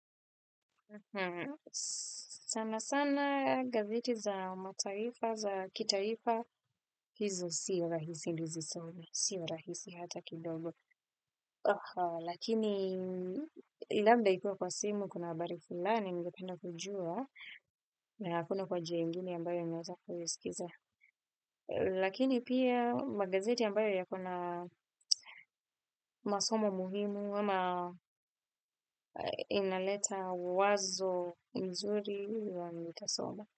Sana sana gazeti za mataifa za kitaifa hizo sio rahisi nisizome sio rahisi hata kidogo. Lakini labda ikuwe kwa simu kuna habari fulani ningependa kujua. Na hakuna kwa njia ingine ambayo ninaweza kuisikiza. Lakini pia magazeti ambayo yako na masomo muhimu ama inaleta wazo mzuri nitasoma.